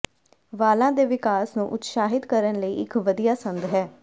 ਵਾਲਾਂ ਦੇ ਵਿਕਾਸ ਨੂੰ ਉਤਸ਼ਾਹਿਤ ਕਰਨ ਲਈ ਇਕ ਵਧੀਆ ਸੰਦ ਹੈ